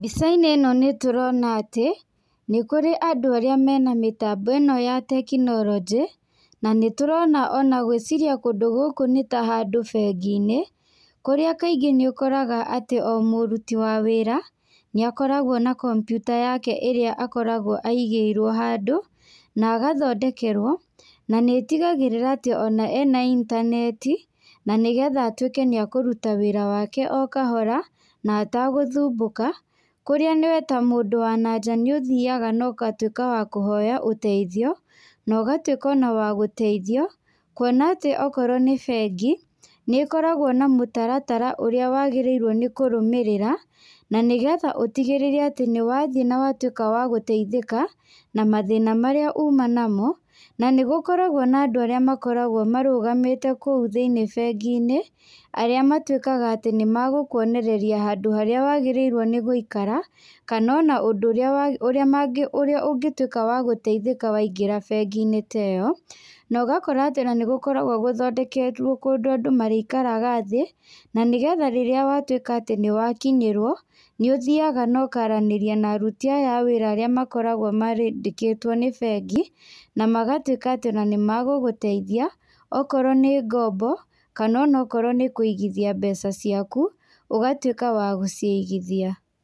Mbica-inĩ ĩno nĩ tũrona atĩ, nĩ kũrĩ andũ arĩa mena mĩtambo ĩno ya tekinoronjĩ, na nĩ tũrona ona gwĩciria kũndũ gũkũ nĩ ta handũ bengi-inĩ, kũrĩa kaingĩ nĩ ũkoraga atĩ o mũruti wa wĩra, nĩ akoragwo na kompiuta yake ĩrĩa akoragwo aigĩrwo handũ, na agathondekerwo. Na nĩ ĩtigagĩrĩra atĩ ona ena intaneti, na nĩgetha atuĩke nĩ akũruta wĩra wake o kahora, na atagũthumbũka. Kũrĩa we ta mũndũ wa na nja nĩ ũthiaga na ũgatuĩka wa kũhoya ũteithio, na ũgatuĩka ona wa gũteithio. Kuona atĩ okorwo nĩ bengi, nĩ ĩkoragwo na mũtaratara ũrĩa wagĩrĩirwo nĩ kũrũmĩrĩra, na nĩgetha ũtigĩrĩre atĩ nĩ wathiĩ na watuĩka wa gũteithĩka, na mathĩna marĩa uma namo. Na nĩ gũkoragwo na andũ arĩa makoragwo marũgamĩte kũu thĩiniĩ bengi-inĩ, arĩa matuĩkaga atĩ nĩ magũkuonereria handũ harĩa wagĩrĩirwo nĩ gũikara, kana ona ũndũ ũrĩa ũrĩa ũrĩa ũngĩtuĩka wa gũteithĩka waingĩra bengi-inĩ ta ĩyo. Na ũgakora atĩ ona nĩ gũkoragwo gũthondeketwo kũndũ andũ marĩikraga thĩ, na nĩgetha rĩrĩa watuĩka atĩ nĩ wakinyĩrwo, nĩ ũthiaga na ũkaranĩria na aruti aya a wĩra arĩa makoragwo marĩ mandĩkĩtwo nĩ bengi. Na magatuĩka atĩ ona nĩ magũgũteithia, okorwo nĩ ngombo, kana ona okorwo nĩ kũigithia mbeca ciaku, ũgatuĩka wa gũcigithia.